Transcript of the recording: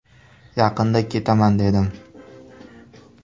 Yaqinda ketaman dedim.